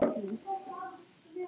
Hann segir að hann hafi trú á mér.